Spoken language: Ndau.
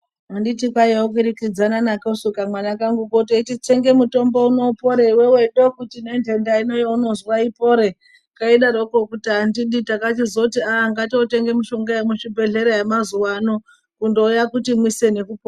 Anditi kwaiye kukirikidzana nakosu kamwana kanguko teiti tsenge mitombo mupore iwewe, ndokuti nenhenda ino waunozwa ipore, keidaroko kuti andidi, takachizoti aah ngatiotenga mishonga yemuzvibhehlera yemazuwa ano, kundouya kuti mwise nekupora.